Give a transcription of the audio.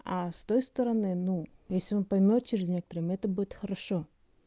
а с той стороны ну если он поймёт через некоторым это будет хорошо